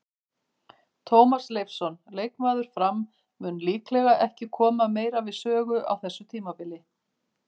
Tómas Leifsson, leikmaður Fram, mun líklega ekki koma meira við sögu á þessu tímabili.